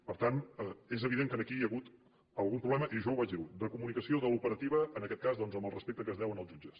per tant és evident que aquí hi ha hagut algun problema i jo ho vaig dir de comunicació de l’operativa en aquest cas doncs amb el respecte que es deu als jutges